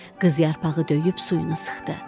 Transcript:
Qız yarpağı döyüb suyunu sıxdı.